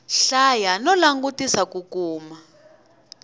hlaya no langutisela ku kuma